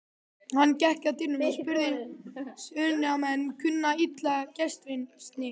Hann gekk að dyrunum og spurði: Suðurnesjamenn kunna illa gestrisni.